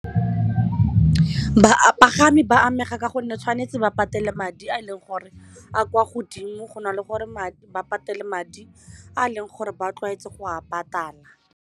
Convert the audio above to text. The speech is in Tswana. Bapagami ba amega ka gonne tshwanetse ba patele madi a e leng gore a kwa godimo go na le gore ba patele madi a leng gore ba tlwaetswe go a patala.